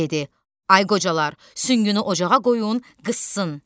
Dedi: Ay qocalar, süngünü ocağa qoyun, qızsın.